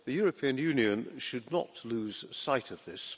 The European Union should not lose sight of this.